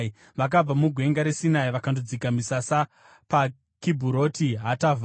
Vakabva muGwenga reSinai vakandodzika misasa paKibhuroti Hataavha.